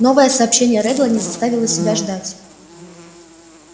новое сообщение реддла не заставило себя ждать